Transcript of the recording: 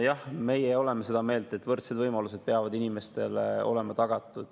Jah, meie oleme seda meelt, et inimestele peavad olema tagatud võrdsed võimalused.